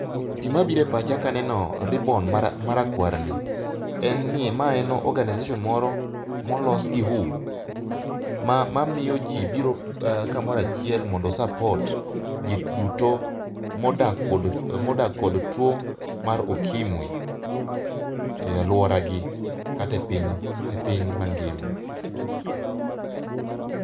Gimabiro e pacha kaneno ribbon mara marakwar ni, en ni mae en organization moro molos gi WHO. Ma ma miyo ji biro kamoro achiel mondo o support ji duto modak kod modak kod tuo mar okimwi e alwora gi kata e piny e piny mangima